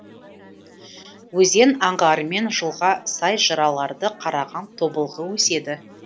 өзен аңғарымен жылға сай жыраларда қараған тобылғы өседі